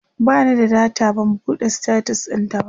bani da data ban buɗe status ɗintaba